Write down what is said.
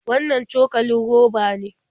Wannan cokalin roba ne?